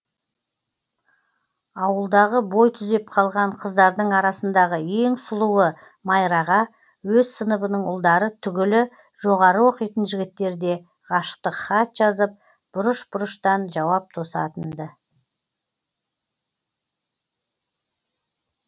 ауылдағы бой түзеп қалған қыздардың арасындағы ең сұлуы майраға өз сыныбының ұлдары түгілі жоғары оқитын жігіттер де ғашықтық хат жазып бұрыш бұрыштан жауап тосатын ды